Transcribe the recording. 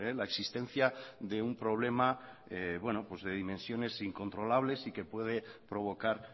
la existencia de un problema de dimensiones incontrolables y que puede provocar